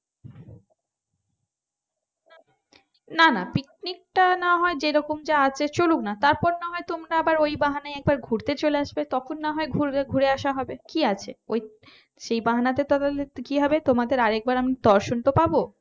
নানা পিকনিকটা না হয় যেরকম যা আছে চলুক না তারপর না হয় তোমরা আবার ওই বাহানায় একবার ঘুরতে চলে আসবে তখন না হয় ঘুরবে ঘুরে আসা হবে কি আছে ওই সেই বাহানায় তাহলে কি হবে তোমাদের আর একবার আমি দর্শন তো পাব